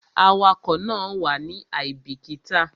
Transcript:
Awakọ̀ náà wàá ní àìbíkítà